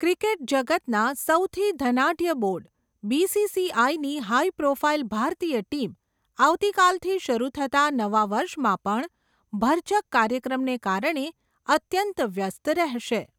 Cricket જગતના, સૌથી ધનાઢ્ય બોર્ડ, બીસીસીઆઇ ની હાઇ પ્રોફાઇલ ભારતીય ટીમ, આવતી કાલથી શરૂ થતાં નવા વર્ષમાં, પણ ભરચક કાર્યક્રમને કારણે, અત્યંત વ્યસ્ત રહેશે.